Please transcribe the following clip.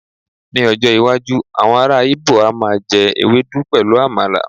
ní ọjọ iwaju awọn ara ibo a ma je ewedu pẹlu àmàlà